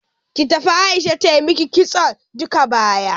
Ki tafi Aisha ta maki kitson duka baya.